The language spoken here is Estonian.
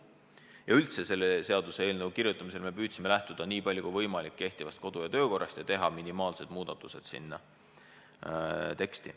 Üldse me püüdsime selle seaduseelnõu kirjutamisel lähtuda nii palju kui võimalik kehtivast kodu- ja töökorrast ja teha teksti minimaalsed muudatused.